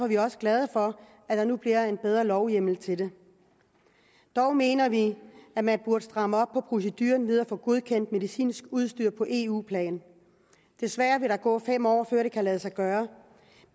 vi også glade for at der nu bliver en bedre lovhjemmel til det dog mener vi at man burde stramme op på procedurerne ved at få godkendt medicinsk udstyr på eu plan desværre vil der gå fem år før det kan lade sig gøre